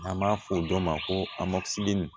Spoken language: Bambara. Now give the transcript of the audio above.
N'an b'a fɔ o dɔ ma ko